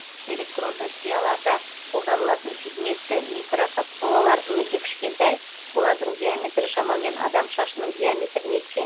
электронды сияларда қолданылатын пигментті микрокапсулалар өте кішкентай олардың диаметрі шамамен адам шашының диаметріне тең